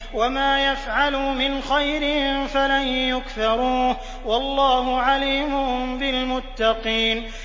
وَمَا يَفْعَلُوا مِنْ خَيْرٍ فَلَن يُكْفَرُوهُ ۗ وَاللَّهُ عَلِيمٌ بِالْمُتَّقِينَ